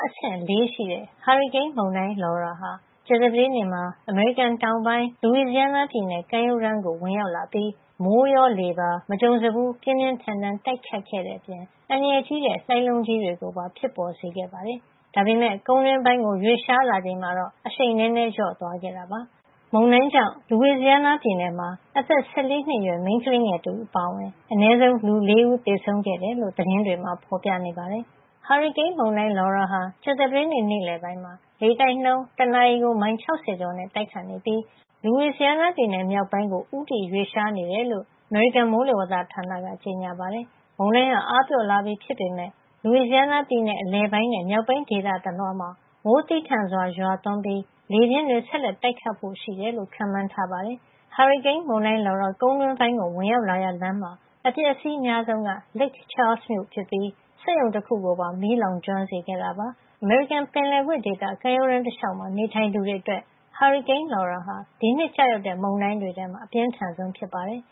အဆင့် ၄ ရှိတဲ့ ဟာရီကိန်းမုန်တိုင်း Laura ဟာ ကြာသပတေးနေ့မှာ အမေရိကန်တောင်ပိုင်း Louisiana ပြည်နယ် ကမ်းရိုးတန်းကို ဝင်ရောက်လာပြီး မိုးရော လေပါ မကြုံစဖူး ပြင်းပြင်းထန်ထန် တိုက်ခတ်ခဲ့တဲ့အပြင် အန္တရာယ်ကြီးတဲ့ လှိုင်းလုံးကြီးတွေ ကိုပါ ဖြစ်ပေါ်စေခဲ့တာပါ။ ဒါပေမယ့် ကုန်းတွင်းပိုင်းကို ရွေ့လျားလာချိန်မှာတော့ အရှိန်နည်းနည်း လျော့သွားခဲ့ပါတယ်။ မုန်တိုင်းကြောင့် Louisiana ပြည်နယ်မှာ အသက် ၁၄ နှစ်အရွယ် မိန်းကလေးငယ် တဦးအပါအဝင် အနည်းဆုံး လူ ၄ ဦး သေဆုံးခဲ့တယ်လို့ သတင်းတွေမှာ ဖေါ်ပြနေပါတယ်။ ဟာရီကိန်းမုန်တိုင်း Laura ဟာ ကြာသပတေးနေ့ နေ့လည်ပိုင်းမှာ လေတိုက်နှုန်း တနာရီကို မိုင် ၆၀ ကျော်နဲ့ တိုက်ခတ်နေပြီး Louisiana ပြည်နယ် မြောက်ပိုင်းက Shreveport မြို့ အရှေ့ မြောက် ဘက်ကို ဦးတည် ရွေ့လျားနေတယ်လို့ အမေရိကန် မိုးလေဝသဌာန NWS က ကြေညာပါတယ်။ မုန်တိုင်းဟာ အားပျော့လာပြီ ဖြစ်ပေမယ့် Louisiana ပြည်နယ် အလယ်ပိုင်းနဲ့ မြောက်ပိုင်း ဒေသ တလွှားမှာ မိုးသည်းထန်စွာရွာသွန်းပြီး လေပြင်း တွေ ဆက်လက်တိုက်ခတ်ဖို့ ရှိတယ်လို့ ခန့်မှန်းထားပါတယ်။ နောက်ပိုင်းမှာ မြောက်ဘက် Arkansas ပြည်နယ် ထဲကို ဆက်လက်ရွေ့လျား သွားမှာ ဖြစ်ပါတယ်။ ဟာရီကိန်းမုန်တိုင်း Laura ကုန်းတွင်းပိုင်းကို ဝင်ရောက်လာရာလမ်းမှာ အပျက်အစီး အများဆုံးက Lake Charles မြို့ဖြစ်ပြီး စက်ရုံတခုကိုပါ မီးလောင်ကျွမ်းစေခဲ့တာပါ။ အမေရိကန်ပင်လယ်ကွေ့ ဒေသ ကမ်းရိုးတန်းတလေ ျှာက်မှာ နေထိုင်သူတွေ အတွက် ဟာရီကိန်း Laura ဟာ ဒီနှစ်ကျရောက်တဲ့ မုန်တိုင်းတွေထဲမှာ အပြင်းထန်ဆုံး ဖြစ်ပါတယ်